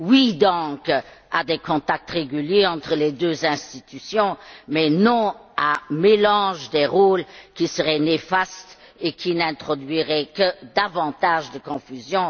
Oui, donc, à des contacts réguliers entre les deux institutions, mais non à un mélange des rôles, qui serait néfaste et qui n'introduirait que davantage de confusion.